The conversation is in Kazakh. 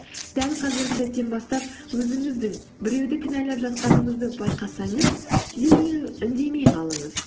дәл қазіргі сәттен бастап өзіңіздің біреуді кінәлап жатқаныңызды байқасаңыз дереу үндемей қалыңыз